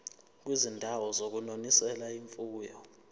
kwizindawo zokunonisela imfuyo